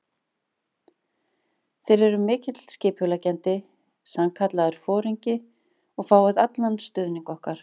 Þér eruð mikill skipuleggjandi, sannkallaður foringi og fáið allan stuðning okkar.